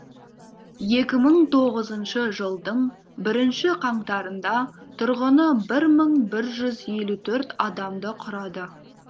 екі мың тоғызыншы жылдың бірінші қаңтарында тұрғыны бір мың бір жүз елу төрт адамды құрады